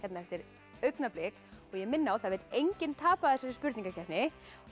eftir augnablik ég minni á að það vill enginn tapa í þessari spurningakeppni ég